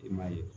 I m'a ye